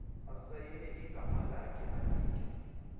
asayine igamalakhe anike